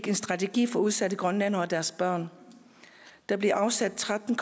en strategi for udsatte grønlændere og deres børn der blev afsat tretten